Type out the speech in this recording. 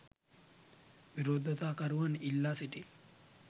විරෝධතාකරුවන් ඉල්ලා සිටී